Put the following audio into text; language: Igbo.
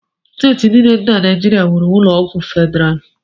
Steeti niile dị na Naijiria nwere ụlọọgwụ federalụ